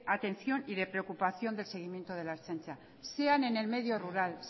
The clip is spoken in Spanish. atención y de preocupación del seguimiento de la ertzaintza sean en el medio rural